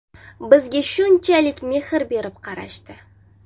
Bizga shunchalik mehr berib qarashdi.